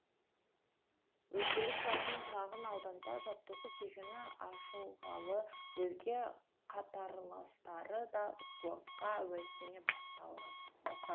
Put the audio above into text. өздері тұратын шағын ауданда жаттығу кешені ашылғалы өзге қатарластары да спортқа әуестене баста